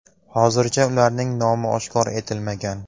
Hozircha ularning nomi oshkor etilmagan.